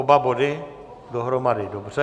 Oba body dohromady, dobře.